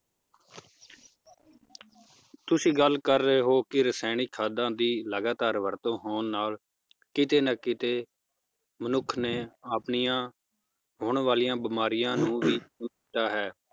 ਤੁਸੀਂ ਗੱਲ ਕਰ ਰਹੇ ਹੋ ਕੀ ਰਸਾਇਣਿਕ ਖਾਦਾਂ ਦੀ ਲਗਾਤਾਰ ਵਰਤੋਂ ਹੋਣ ਨਾਲ ਕਿਤੇ ਨਾ ਕਿਤੇ ਮਨੁੱਖ ਨੇ ਆਪਣੀਆਂ ਹੋਣ ਵਾਲੀਆਂ ਬਿਮਾਰੀਆਂ ਨੂੰ ਵੀ ਹੈ